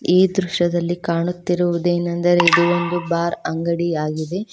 ಈ ದೃಶ್ಯದಲ್ಲಿ ಕಾಣುತ್ತಿರುವುದೇನೆಂದರೆ ಇದು ಒಂದು ಬಾರ್ ಅಂಗಡಿ ಯಾಗಿದೆ.